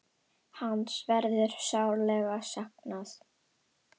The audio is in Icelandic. Hans verður sárlega saknað.